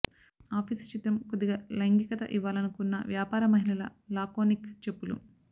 office చిత్రం కొద్దిగా లైంగికత ఇవ్వాలనుకున్న వ్యాపార మహిళల లాకోనిక్ చెప్పులు